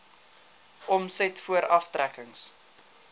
omset voor aftrekkings